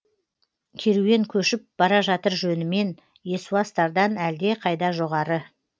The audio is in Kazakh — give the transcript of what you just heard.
керуен көшіп бара жатыр жөнімен есуастардан әлдеқайда жоғары